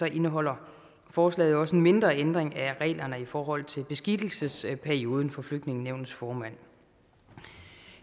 indeholder forslaget også en mindre ændring af reglerne i forhold til beskikkelsesperioden for flygtningenævnets formand